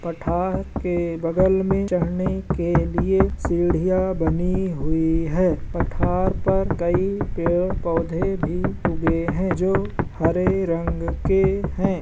पठार के बगल में चढ़ने के लिए सीढ़िया बनी हुई है | पठार पर कई पेड़-पौधे भी उगे हैं जो हरे रंग के हैं ।